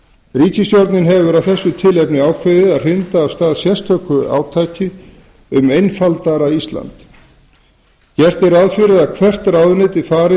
ríkisstjórnin hefur af þessu tilefni ákveðið að hrinda af stað sérstöku átaki um einfaldara ísland gert er ráð fyrir að hvert ráðuneyti fari